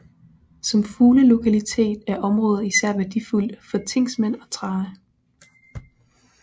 Som fuglelokalitet er området især værdifuldt for tinksmed og trane